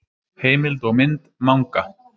Heimild og mynd Manga.